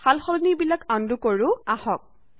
সালসলনি বিলাক আনডু কৰো আহক